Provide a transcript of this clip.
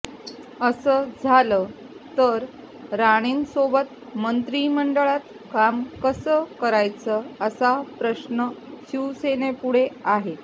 असं झालं तर राणेंसोबत मंत्रीमंडळात काम कसं करायचं असा प्रश्न शिवसेनेपुढे आहे